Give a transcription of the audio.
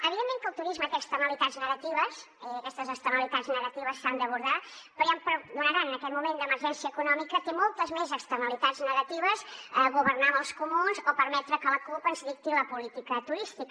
evidentment que el turisme té externalitats negatives i aquestes externalitats negatives s’han d’abordar però ja em perdonaran en aquest moment d’emergència econòmica té moltes més externalitats negatives governar amb els comuns o permetre que la cup ens dicti la política turística